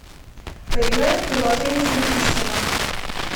поиграем в приложение салютиссимо